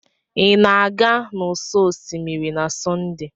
Ị na-aga n'ụsọ osimiri na Sọnde?